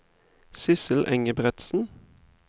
Sissel Engebretsen